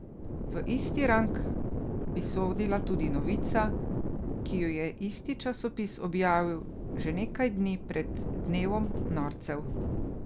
V isti rang bi sodila tudi novica, ki jo je isti časopis objavil že nekaj dni pred dnevom norcev.